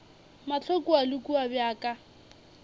mahlo kua le kua bjaka